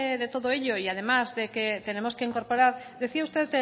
de todo ello y además de que tenemos que incorporar decía usted